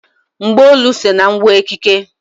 Mgbaolu so na ngwa ekike.